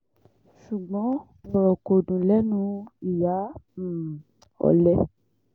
ṣùgbọ́n ọ̀rọ̀ kò dùn lẹ́nu ìyá um ọ̀lẹ